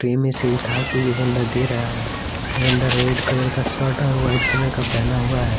Tray में से उठा के ये बंदा दे रहा है ये बंदा रेड कलर का शर्ट और व्हाइट कलर का पहना हुआ है।